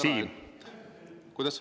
Kuidas?